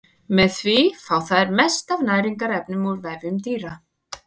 Með því fá þær mest af næringarefnum úr vefjum dýra.